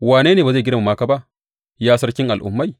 Wane ne ba zai girmama ka ba, Ya Sarkin al’ummai?